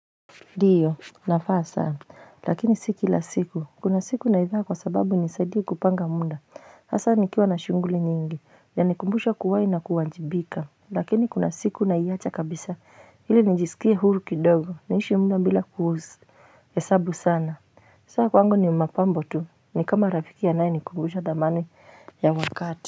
Ndiyo navaa saa lakini si kila siku kuna siku naivaa kwa sababu inisaidie kupanga muda hasa nikiwa na shuguli nyingi inanikumbusha kuwai na kuwajibika lakini kuna siku naicha kabisa ili nijisikie huru kidogo niishi mno bila kuhusu hesabu sana. Saa kwangu ni mapambo tu ni kama rafiki anaye nikumbusha thamani ya wakati.